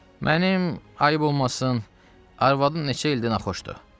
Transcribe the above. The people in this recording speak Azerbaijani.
"Mənim ayb olmasın, arvadım neçə ildir naxoşdur.